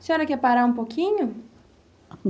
A senhora quer parar um pouquinho?